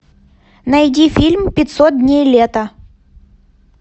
найди фильм пятьсот дней лета